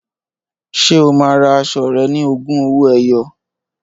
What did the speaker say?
Ṣé o máa ra aṣọ rẹ̀ ní ogún owó ẹyọ?